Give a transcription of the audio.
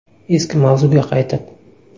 Eski mavzuga qaytib.